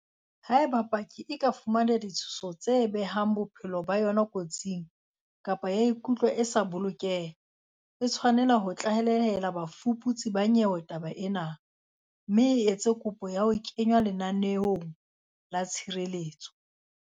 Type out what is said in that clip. Haeba paki e ka fumana ditshoso tse behang bophelo ba yona kotsing, kapa ya ikutlwa e sa bolokeha, e tshwanela ho tlalehela bafuputsi ba nyewe taba ena, mme e etse kopo ya ho kenngwa lenaneong la tshireletso.